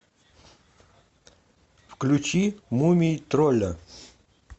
включи мумий тролля